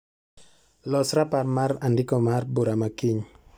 Los raparmar andiko mar bura makiny.